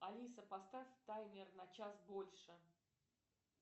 алиса поставь таймер на час больше